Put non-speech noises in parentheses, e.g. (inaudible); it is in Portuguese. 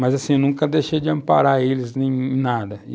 Mas, assim, eu nunca deixei de amparar eles, nem (unintelligible) nada.